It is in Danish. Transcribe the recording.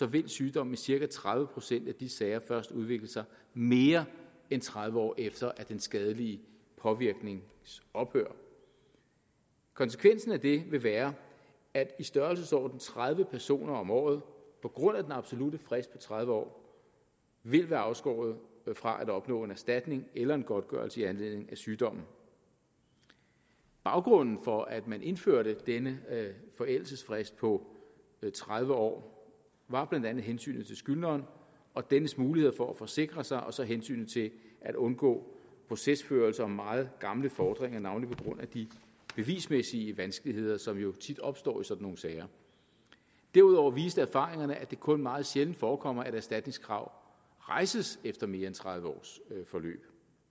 vil sygdommen i cirka tredive procent af de sager først udvikle sig mere end tredive år efter den skadelige påvirknings ophør konsekvensen af det vil være at i størrelsesordenen tredive personer om året på grund af den absolutte frist på tredive år vil være afskåret fra at opnå en erstatning eller en godtgørelse i anledning af sygdommen baggrunden for at man indførte denne forældelsesfrist på tredive år var blandt andet hensynet til skyldneren og dennes muligheder for at forsikre sig og så hensynet til at undgå procesførelse om meget gamle fordringer navnlig på grund af de bevismæssige vanskeligheder som jo tit opstår i sådan nogle sager derudover viste erfaringerne at det kun meget sjældent forekommer at erstatningskrav rejses efter mere end tredive års forløb